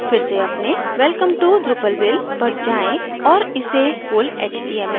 फिर से अपने welcome to drupalville पर जाएँ और इसे full html में बदलें